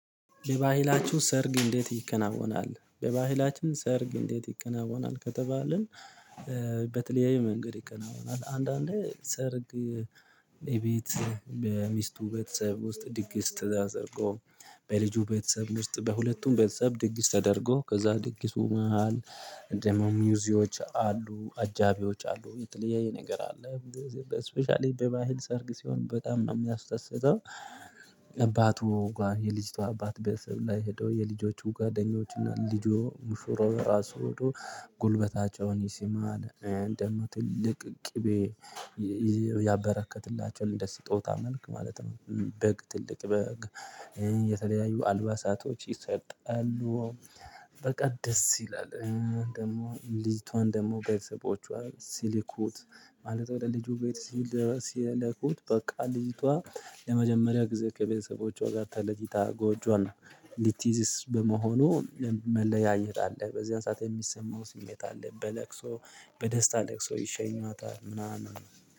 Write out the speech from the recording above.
በባህላችሁ ሰርግ እንዴት ይከናወናል? በባህላችን ሰርግ እንዴት ይከናወናል? ከተባልን ኧ በተለያዩ መንገድ ይከናወናል። አንዳንዴ ሰርግ የቤት በሚስቱ ቤተሰብ ውስጥ ድግስ ተደርጎ በልጁ ቤተሰብ ውስጥ በሁለቱም ቤተሰብ ድግስ ተደርጎ ከዛ ድግሱ መሃል ደግሞ ሙዚዎች አሉ አጃቢዎች አሉ የተለያየያ ነገር አለ። በእ ስፔሻሊ በባህል ሰርግ ሲሆን በጣም ነው እሚያስደስተው። አባቱ ጋ የልጅቷ አባት ቤተሰብ ላይ ሄዶ የልጆቹ ጓደኞች እና ልጆ ሙሽራው ራሱ ሄዶ ጉልበታቸውን ይስማል። ትልቅ ቅቤ የየ ያበረከትላቸዋል እንደ ስጦታ መልክ ማለት ነው። በግ ትልቅ በግ ኧ የተለያዩ አልባሳቶች ይሰጣሉ። በቃ ደስ ይላል እ ደግሞ ልጅቷን ደግሞ ቤተሰቦቿ ሲልኩት ማለት ወደ ልጁ ቤት ሲልኩት በቃ ልጅቷ ለመጀመሪያ ጊዜ ከቤተሰቦቿ ጋር ተለይታ ጎጆዋን ነው። ልትይዝስ በመሆኑ መለያየት አለ በዚያን ሰዓት የሚሰማው ስሜት አለ በለቅሶ በደስታ ለቅሶ ይሸኟታል ምናምን።